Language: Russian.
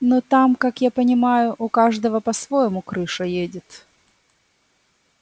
но там как я понимаю у каждого по-своему крыша едет